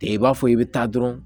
I b'a fɔ i bɛ taa dɔrɔn